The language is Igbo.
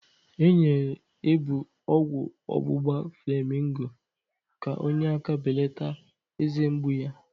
E nyere Ebuu ọgwụ ọgbugba flamingo ka onye aka belata eze mgbu ya